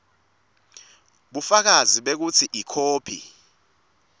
bufakazi bekutsi ikhophi